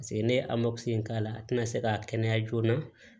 Paseke ne ye in k'a la a tɛna se k'a kɛnɛya joona